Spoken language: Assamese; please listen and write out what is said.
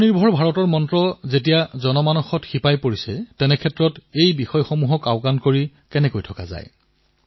আত্মনিৰ্ভ ভাৰত যেতিয়া জনমনৰ মন্ত্ৰলৈ পৰিৱৰ্তিত হয় তেতিয়া কোনো এটা ক্ষেত্ৰই পিছ পৰি নৰয়